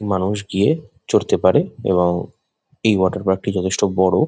মানুষ গিয়ে চড়তে পারে এবং এই ওয়াটার পার্ক টি যথেষ্ট বড়।